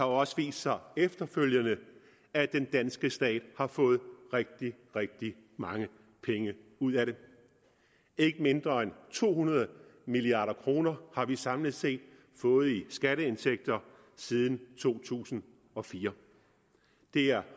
også vist sig efterfølgende at den danske stat har fået rigtig rigtig mange penge ud af det ikke mindre end to hundrede milliard kroner har vi samlet set fået i skatteindtægter siden to tusind og fire det er